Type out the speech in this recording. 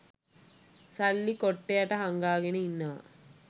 සල්ලි කොට්ටේ යට හංගාගෙන ඉන්නවා.